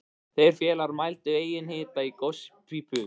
Þeir félagar mældu einnig hita í gospípu